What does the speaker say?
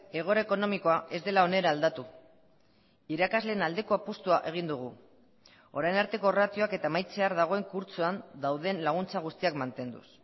egoera ekonomikoa ez dela onera aldatu irakasleen aldeko apustua egin dugu orain arteko ratioak eta amaitzear dagoen kurtsoan dauden laguntza guztiak mantenduz